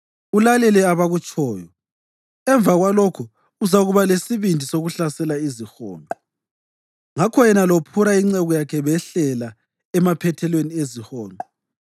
ulalele abakutshoyo. Emva kwalokho uzakuba lesibindi sokuhlasela izihonqo.” Ngakho yena loPhura inceku yakhe behlela emaphethelweni ezihonqo.